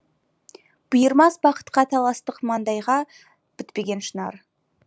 бұйырмас бақытқа таластық маңдайға бітпеген шынар